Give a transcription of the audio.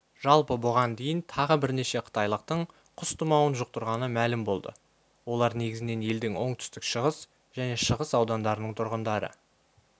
жалпы бұған дейін тағы бірнеше қытайлықтың құс тұмауын жұқтырғаны мәлім болды олар негізінен елдің оңтүстік-шығыс және шығыс аудандарының тұрғындары